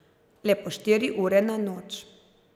Le po štiri ure na noč.